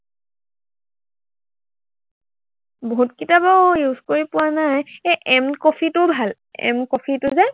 বহুতকিটা বাৰু use কৰি পোৱা নাই। এৰ এম কফিটোও ভাল। এম কফিটো যে